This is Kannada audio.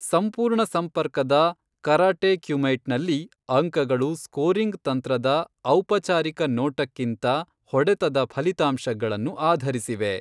ಸಂಪೂರ್ಣ ಸಂಪರ್ಕದ ಕರಾಟೆ ಕ್ಯುಮೈಟ್ನಲ್ಲಿ, ಅಂಕಗಳು ಸ್ಕೋರಿಂಗ್ ತಂತ್ರದ ಔಪಚಾರಿಕ ನೋಟಕ್ಕಿಂತ ಹೊಡೆತದ ಫಲಿತಾಂಶಗಳನ್ನು ಆಧರಿಸಿವೆ.